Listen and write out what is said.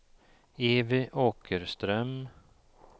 Evy Åkerström